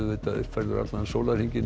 uppfærður allan sólarhringinn